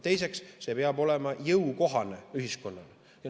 Teiseks, see peab olema ühiskonnale jõukohane.